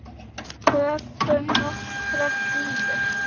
Tökum nokkrar dýfur!